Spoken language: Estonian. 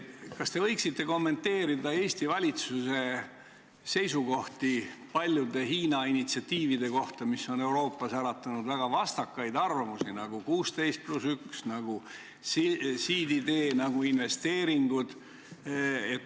Kas te võiksite kommenteerida Eesti valitsuse seisukohti paljude Hiina initsiatiivide kohta, mis on Euroopas äratanud väga vastakaid arvamusi, nagu 16 + 1, nagu Siiditee, nagu investeeringud?